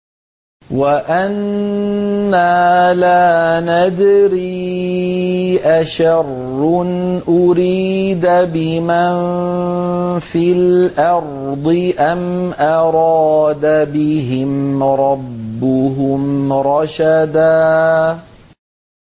وَأَنَّا لَا نَدْرِي أَشَرٌّ أُرِيدَ بِمَن فِي الْأَرْضِ أَمْ أَرَادَ بِهِمْ رَبُّهُمْ رَشَدًا